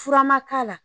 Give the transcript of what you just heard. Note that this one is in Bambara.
Fura ma k'a la